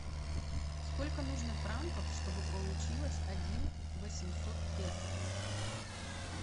сколько нужно франков чтобы получилось один восемьсот песо